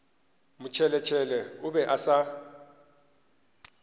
motšheletšhele o be a sa